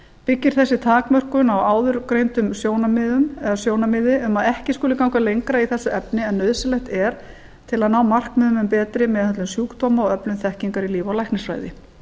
byggir þessi takmörkun á áðurgreindu sjónarmiði um að ekki skuli ganga lengra í þessu efni en nauðsynlegt er til að ná markmiðum um betri meðhöndlun sjúkdóma og öflun þekkingar í líf og læknisfræði